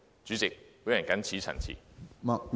主席，我謹此陳辭。